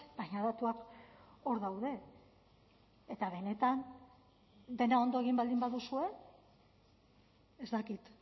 baina datuak hor daude eta benetan dena ondo egin baldin baduzue ez dakit